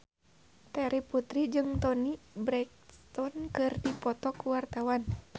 Terry Putri jeung Toni Brexton keur dipoto ku wartawan